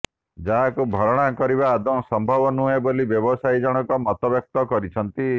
ଯାହାକୁ ଭରଣା କରିବା ଆଦୌଁ ସମ୍ଭବ ନୁହେଁ ବୋଲି ବ୍ୟବସାୟୀ ଜଣକ ମତବ୍ୟକ୍ତ କରିଛନ୍ତି